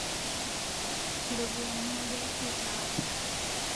Ropiyiani aja kitaap